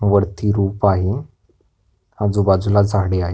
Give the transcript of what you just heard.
वरती रूफ आहे आजूबाजूला झाड आहेत.